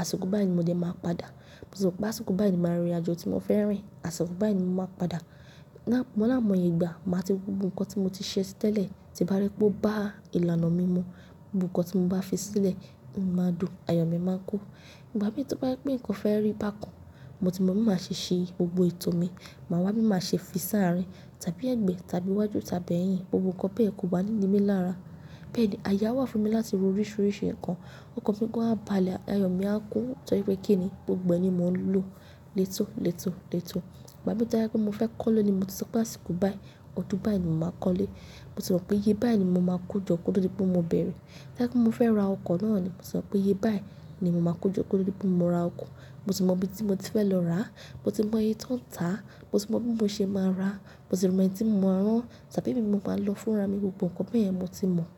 àsìkò báyìí ni mo dẹ̀ máa padà. Mo ti sọ pé àsìkò báyìí ni màá rìn àjò tí mo fẹ́ rìn, àsìkò báyìí ni màá padà. Lá-- mo lámo ìgbà, màá ti mọ gbogbo ǹkan tí mo ti ṣe tẹ́lẹ̀. Tí bá rí pé ó bá ìlànà mi mú, gbogbo ǹkan tí mo bá fi sílẹ̀, mo máa dùn, ayọ̀ mi máa kún. Ìgbà mí tí bá rí pé ǹkan fẹ́ rí bákan, mo ti mọ̀ bí màá ṣe ṣe gbogbo ètò mi. Màá wá, bí màá ṣe fi sáàrìn tàbí ẹ̀gbẹ́ tàbí iwájú tàbí ẹ̀yìn, gbogbo ǹkan bẹ́ẹ̀ kò wà ní nimi lára. Bẹ́ẹ̀ ni. Àyà wà fún mi láti ro oríṣiríṣi ǹkan. Ǹkan pé ó ń bá à lè, ayọ̀ mi á kún torí pé kí ni gbogbo ẹ̀ ni mò ń lò létò létò létò. Ìgbà mí tí mo fẹ́ kọ́lọ́ ni mo ti sọ pé àsìkò báyìí, ọdún báyìí ni màá kọ́lẹ̀. Mo ti mọ̀ pé iye báyìí ni mo máa kojọ́ kóto dipé mo bẹ̀rẹ̀. Tó bá jẹ́ mo fẹ́ ra ọkọ̀ náà ni mo sọ pé iye báyìí ni mo máa kojọ́ kóto dipé mo ra ọkọ̀. Mo ti mọ ibi tí mo ti fẹ́ lọ rà á, mo ti mọ iye tó ń tà á, mo ti mọ bí mo ṣe máa rà á, mo sì mọ̀ ẹni tí mo máa rán án tàbí èmi ni mo máa lọ fúnra mi, gbogbo ǹkan bẹ́ẹ̀ yẹn mo ti mọ̀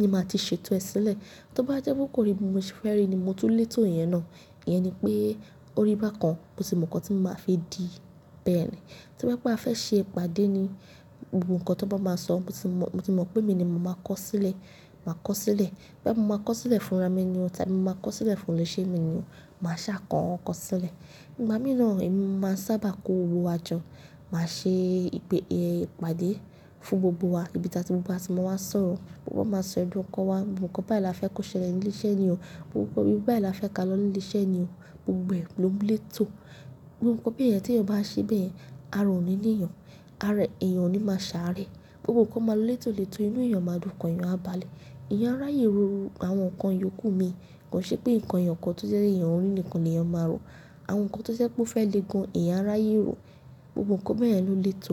ni màá ti ṣètò ẹ sílẹ̀. Tí ó bá jẹ́ pé kò rí bí mo ṣe fẹ́ rí ni mo tún lè tò ìyẹn ná. Ìyẹn ni pé ó rí bákan, mo ti mọ̀ ǹkan tí màá fi dì í. Bẹ́ẹ̀ ni. Tí mo bá fẹ́ ṣe ìpàdé ni, gbogbo ǹkan tó bá máa sọ, mo ti mọ̀ pé mi ni màá kọ́ sílẹ̀, màá kọ́ sílẹ̀. Bí màá kọ́ sílẹ̀ fúnra mi ni o tàbí màá kọ́ sílẹ̀ fún ilèṣẹ́ mi ni o, màá ṣà kọ ǹkan sílẹ̀. Ìgbà mí náà èmi ni mo máa ń sábà kó owó àjọ. Màá ṣe ìpè ìpàdé fún gbogbo wa ibi tí gbogbo wa sì máa wá sọ̀rọ̀. Gbogbo wa máa sọ ẹ̀dùn ọkàn wa, gbogbo ǹkan báyìí la fẹ́ kó ṣẹlẹ̀ ní ilé iṣẹ́ ni o, gbogbo ibi báyìí la fẹ́ ká lọ ní ilé iṣẹ́ ni o. Gbogbo ẹ̀ ló lè tò. Gbogbo ǹkan bẹ́ẹ̀ yẹn tí èèyàn bá ṣe bẹ́ẹ̀ yẹn, ara ò ní ni eyan, ara èèyàn ò ní máa ṣàárẹ̀. Gbogbo ǹkan máa lọ létò létò inú èèyàn máa dùn, ọkàn èèyàn á bá à lè. Eyan a ráyè ro àwọn ǹkan yòkù mi kò ń ṣepé ǹkan ẹyọkan tó jẹ́ eyan rí ni nìkan lèèyàn a ma ro àwọn kan tó jẹ́ ó fẹ́ le gan eyan a ráyè rò, gbogbo ǹkan beyen ló létò.